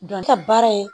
Dɔnta baara in